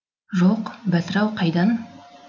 жоқ бәтір ау қайдан